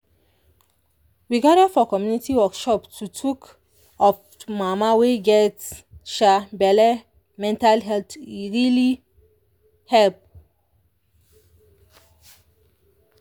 we gather for community workshop to tok of mama wey get um belle mental health e really help.